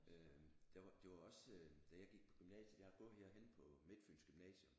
Øh det var også øh da jeg gik på gymnasiet jeg har gået herhenne på Midtfyns Gymnasium